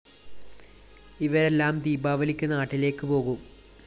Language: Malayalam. ഇവരെല്ലാം ദീപാവലിക്ക് നാട്ടിലേക്ക് പോകും